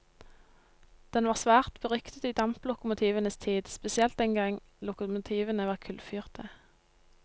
Den var svært beryktet i damplokomotivenes tid, spesielt den gang lokomotivene var kullfyrte.